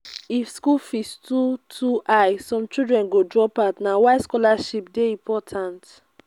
if school fees too too high some children go drop out na why scholarship dey important